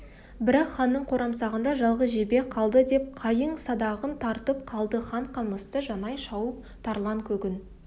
бірақ ханның қорамсағында жалғыз жебе қалды деп қайың садағын тартып қалды хан қамысты жанай шауып тарланкөгін